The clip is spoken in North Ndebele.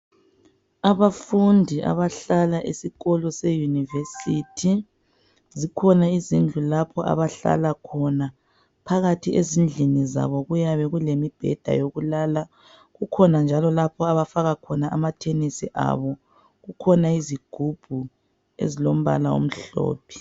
Abafundi abahlala esikolo seyunivesithi, zikhona izindlu lapho abahlala khona. Phakathi ezindlini zabo kuyabe kulemibheda yokulala. Kukhona njalo lapho abafaka khona amathenesi abo. Kukhona izigubhu ezilombala omhlophe.